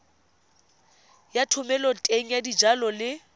ya thomeloteng ya dijalo le